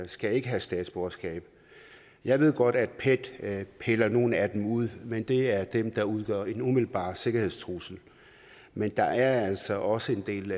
skal ikke have statsborgerskab jeg ved godt at pet piller nogle af dem ud men det er dem der udgør en umiddelbar sikkerhedstrussel men der er altså også en del